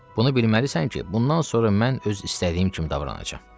Bunu bilməlisən ki, bundan sonra mən öz istədiyim kimi davranacam.